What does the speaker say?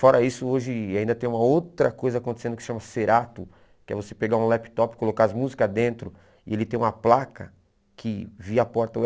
Fora isso, hoje ainda tem uma outra coisa acontecendo que se chama Serato, que é você pegar um laptop, colocar as músicas dentro e ele tem uma placa que, via porta u